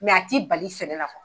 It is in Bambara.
a t'i bali sɛnɛ la